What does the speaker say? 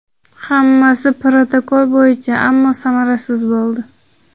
Hammasi protokol bo‘yicha, ammo samarasiz bo‘ldi.